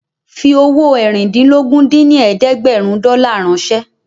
Fi owó eérìndínlógún dín ní ẹ̀ẹ́dẹ́gbẹ́rún dọ́là ránṣẹ́